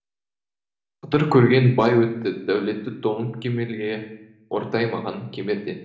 қыдыр көрген бай өтті дәулеті толып кемелге ортаймаған кемерден